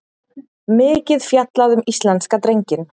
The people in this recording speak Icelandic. Mikið fjallað um íslenska drenginn